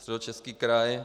Středočeský kraj.